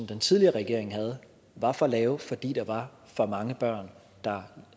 den tidligere regering havde var for lave fordi der var for mange børn der